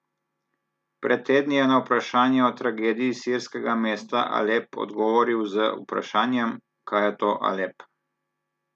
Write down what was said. Pred tedni je na vprašanje o tragediji sirskega mesta Alep odgovoril z vprašanjem, kaj je to Alep?